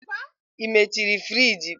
Ị mechiri friji?